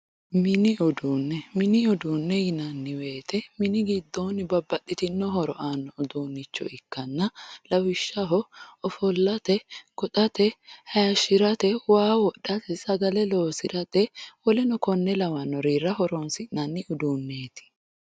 mini uduune mini uduune yinanni woyiite mini giddooni babbaxitino horo aano udunnicho ikkana lawishshaho ofollate, goxate, hayiishirate, waa woxxate, sagale loosirate woleno konne lawannorira horonsi'nanni uduuneeti